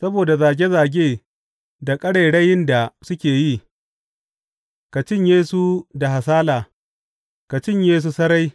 Saboda zage zage da ƙarairayin da suke yi, ka cinye su da hasala, ka cinye su sarai.